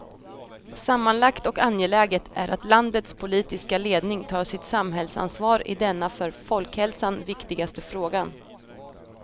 Sammanlagt och angeläget är att landets politiska ledning tar sitt samhällsansvar i denna för folkhälsan viktigaste frågan.